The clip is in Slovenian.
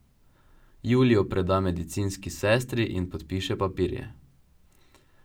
Julijo preda medicinski sestri in podpiše papirje.